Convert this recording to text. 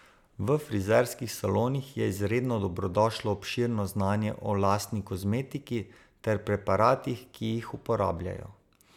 V frizerskih salonih je izredno dobrodošlo obširno znanje o lasni kozmetiki ter preparatih, ki jih uporabljajo.